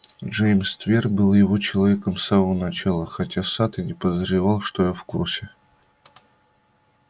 джеймс твер был его человеком с самого начала хотя сатт и не подозревал что я в курсе